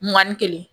Mugan ni kelen